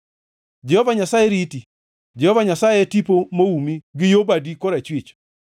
Jehova Nyasaye riti, Jehova Nyasaye e tipo moumi gi yo badi korachwich;